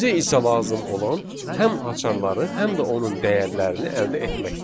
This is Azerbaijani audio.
Bizə isə lazım olan həm açarları, həm də onun dəyərlərini əldə etməkdir.